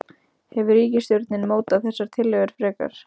Hefur ríkisstjórnin mótað þessar tillögur frekar?